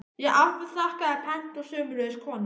Ég afþakkaði pent og sömuleiðis konan.